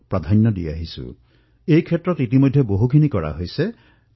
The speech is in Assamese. দেশে যেতিয়া মোৰ সেৱাৰ অৱকাশ প্ৰদান কৰিলে তেতিয়াৰ পৰাই আমি পূব ভাৰতক প্ৰাথমিকতা প্ৰদান কৰি আহিছো